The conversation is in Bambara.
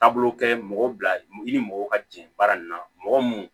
Taabolo kɛ mɔgɔw bila i ni mɔgɔw ka jɛ baara in na mɔgɔ mun